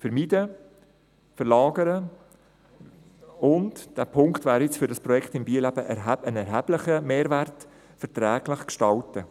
Vermeiden, verlagern und – dieser Punkt wäre jetzt für das Projekt in Biel ein erheblicher Mehrwert – verträglich gestalten.